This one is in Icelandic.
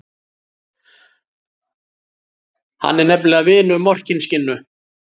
Hann er nefnilega vinur Morkinskinnu.